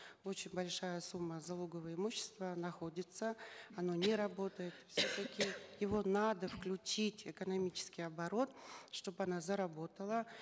когда очень большая сумма залогового имущества находится оно не работает его надо включить в экономический оборот чтобы она заработала